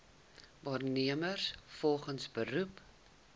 werknemers volgens beroep